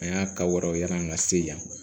An y'a ka wɛrɛw yaala an ka se yan